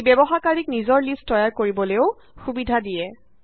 ই ব্যৱহাৰকাৰীক নিজৰ লিষ্ট তৈয়াৰ কৰিবলেও সুবিধা দিয়ে